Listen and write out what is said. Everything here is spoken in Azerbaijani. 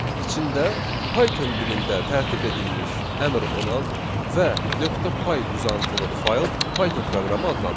İçində Python dilində tərtib edilmiş əmr olan və .py uzantılı fayl Python proqramı adlanır.